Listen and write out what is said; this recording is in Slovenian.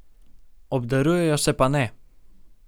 Obdarujejo se pa ne.